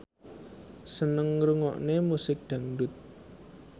seneng ngrungokne musik dangdut